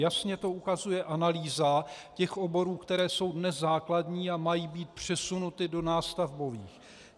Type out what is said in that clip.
Jasně to ukazuje analýza těch oborů, které jsou dnes základní a mají být přesunuty do nástavbových.